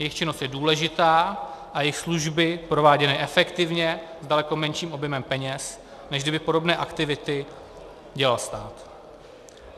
Jejich činnost je důležitá a jejich služby prováděné efektivně, s daleko menším objemem peněz, než kdyby podobné aktivity dělal stát.